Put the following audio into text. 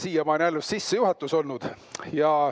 Siiamaani on alles sissejuhatus olnud.